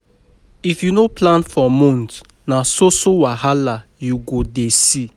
If you no plan for month, na so so wahala you go dey see.